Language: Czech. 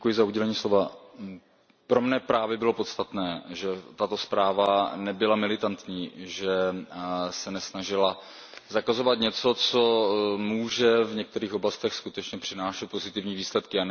Pane předsedající, pro mne právě bylo podstatné, že tato zpráva nebyla militantní, že se nesnažila zakazovat něco, co může v některých oblastech skutečně přinášet pozitivní výsledky.